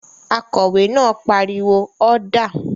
Akòwé náà pariwo "ọ́dà!"